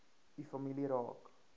u familie raak